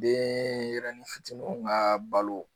Denyɛrɛnin fitininw ka balo